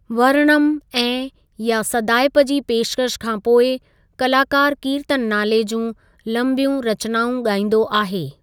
वर्णम ऐं या सदाइप जी पेशकश खां पोइ, कलाकार कीर्तन नाले जूं लंबियूं रचनाउं गाइंदो आहे।